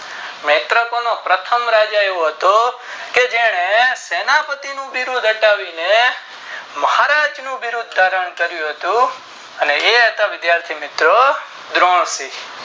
નેત્રોકોનો પ્રથમ રાજા એવો હતો કે જેને સેનાએ પતિ નું બિરુદ આપાવીને મહારાજ નું બિરુદ ધારણ કરું હતું અને એ છે વિરાશિ